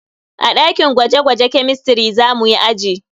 A dakin gwaje-gwaje kemistiri za muyi aji.